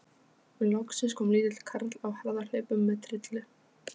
Loksins kom lítill karl á harðahlaupum með trillu.